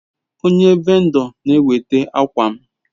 Onye vendo n'eweta akwam